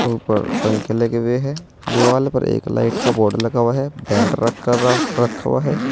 ऊपर पंखे लगे हुए है दीवाल पर एक लाइट का बोर्ड लगा हुआ है पेंट र कर रखा हुआ है।